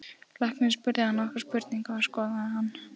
Læknirinn spurði hann nokkurra spurninga og skoðaði hann.